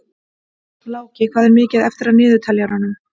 Láki, hvað er mikið eftir af niðurteljaranum?